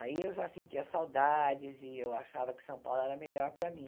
Aí eu já sentia saudades e eu achava que São Paulo era melhor para mim.